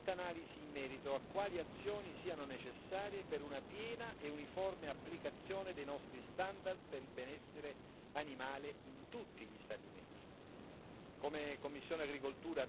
C'è bisogno, Commissario, di un'attenta analisi in merito a quali azioni siano necessarie per una piena e uniforme applicazione dei nostri standard per il benessere animale in tutti gli Stati membri.